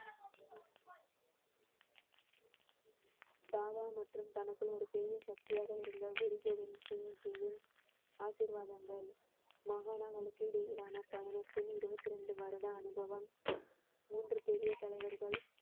தாவா மற்றும் தனக்குள் ஒரு பெரிய சக்தியாக இருந்த குரு கோவிந்த் சிங்ஜியின் ஆசீர்வாதங்கள் மகாணங்களுக்கு இடையிலான பயணத்தில் இருபத்தி ரெண்டு வருட அனுபவம் மூன்று பெரிய தலைவர்கள்